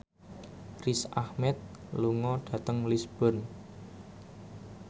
Riz Ahmed lunga dhateng Lisburn